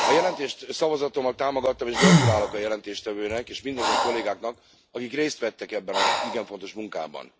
A jelentést szavazatommal támogattam, és gratulálok a jelentéstevőnek és mindazon kollégáknak, akik részt vettek ebben az igen fontos munkában.